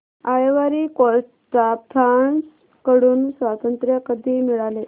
ivory Coast ला France कडून स्वातंत्र्य कधी मिळाले